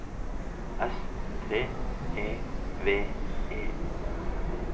S T E V E